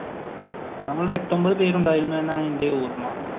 നമ്മൾ എട്ട് ഒൻപത് പേര് ഉണ്ടായിരുന്നു എന്നാണ് എന്റെ ഓർമ്മ.